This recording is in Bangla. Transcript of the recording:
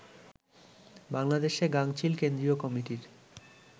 বাংলাদেশে গাঙচিল কেন্দ্রীয় কমিটির